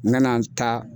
N ka na n ta